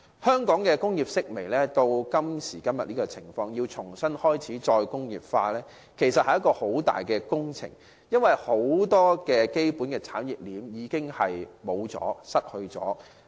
香港工業式微至今時今日這種情況，要開展"再工業化"，其實是一項極大的工程，因為很多基本產業鏈已消失。